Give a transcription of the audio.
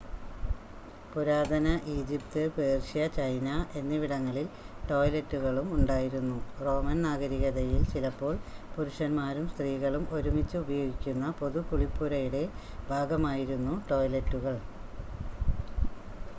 പുരാതന Egypt Persia China എന്നിവിടങ്ങളിൽ ടോയ്‌ലെറ്റുകളും ഉണ്ടായിരുന്നു റോമൻ നാഗരികതയിൽ ചിലപ്പോൾ പുരുഷൻമാരും സ്ത്രീകളും ഒരുമിച്ച് ഉപയോഗിക്കുന്ന പൊതു കുളിപ്പുരയുടെ ഭാഗമായിരുന്നു ടോയ്ലെറ്റുകൾ